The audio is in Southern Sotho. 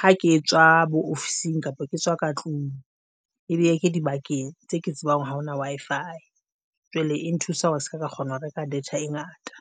ha ke tswa bo ofising kapa ke tswa ka tlung ebe ke dibakeng tse ke tsebang ha hona Wi-Fi jwale e nthusa hore ke seka kgona ho reka data e ngata.